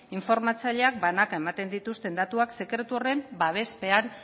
informatzaileak banaka ematen dituzten datuak sekretu horren babespean